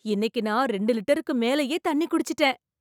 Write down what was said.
இன்னைக்கு நான் ரெண்டு லிட்டருக்கு மேலேயே தண்ணி குடிச்சிட்டேன்